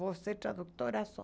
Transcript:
Vou ser tradutora só.